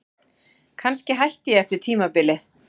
Kannski hætti ég eftir tímabilið.